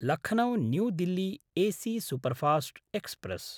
Lucknow New Delhi AC superfast express